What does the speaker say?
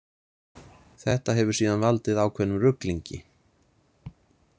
Þetta hefur síðan valdið ákveðnum ruglingi.